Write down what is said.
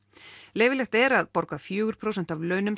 leyfilegt er að borga fjórum prósentum af launum